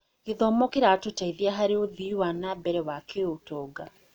Gĩthomo kĩratũteithia harĩ ũthii wa na mbere wa kĩũtonga.